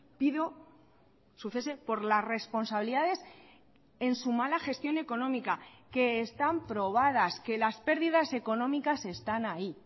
pido su cese por las responsabilidades en su mala gestión económica que están probadas que las pérdidas económicas están ahí